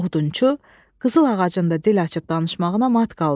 Odunçu qızıl ağacın da dil açıb danışmağına mat qaldı.